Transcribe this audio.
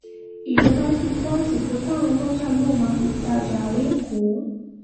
ìjọba fi kún àsìkò táwọn ọlọ́jà yóò máa fi tajà lẹ́kọ̀ọ́